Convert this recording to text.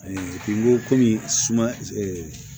n ko kɔmi suma